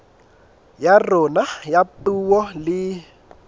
ya rona ya puo le